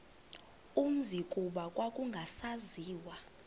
umzi kuba kwakungasaziwa